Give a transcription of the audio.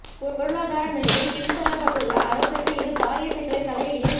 பொருளாதார நிலையில் பின் தள்ளப்பட்டுள்ள அரசுக்கு இது பாரிய சிக்கலை தலையிடியை